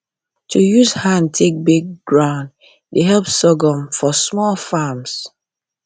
to use hand take break ground dey help sorghum for small farms